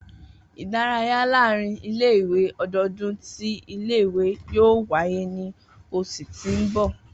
Idaraya laarin ile-iwe ọdọọdun ti ile-iwe yoo waye ni oṣu ti n bọ.